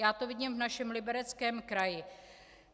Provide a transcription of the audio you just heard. Já to vidím v našem Libereckém kraji.